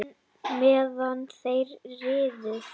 Jóni meðan þeir riðu.